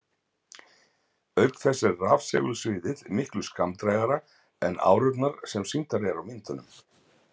Auk þess er rafsegulsviðið miklu skammdrægara en árurnar sem sýndar eru á myndum.